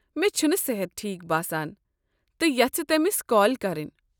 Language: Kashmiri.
مےٚ چھنہٕ صحت ٹھیٖک باسان تہٕ یژھہٕ تمِس كال كرٕنۍ۔